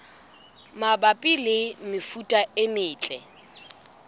mabapi le mefuta e metle